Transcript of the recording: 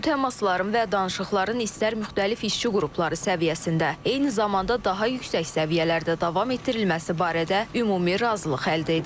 Bu təmasların və danışıqların istər müxtəlif işçi qrupları səviyyəsində, eyni zamanda daha yüksək səviyyələrdə davam etdirilməsi barədə ümumi razılıq əldə edilib.